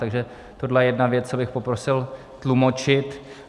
Takže tohle je jedna věc, co bych poprosil tlumočit.